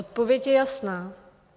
Odpověď je jasná.